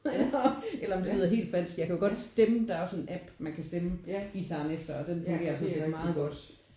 Eller om det lyder helt falsk. Jeg kan jo godt stemme der er også en app man kan stemme guitaren efter og den fungerer jo sådan set meget godt